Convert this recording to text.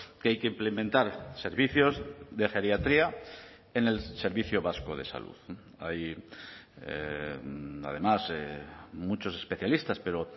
que hay que implementar servicios de geriatría en el servicio vasco de salud hay además muchos especialistas pero